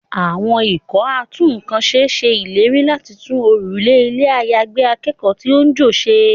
Àwọn ikọ̀ a tún ǹkan ṣe ṣe ìlérí láti tún òrùlé ilé àyágbé akẹ́kọ̀ọ́ tí ó ń jò ṣe.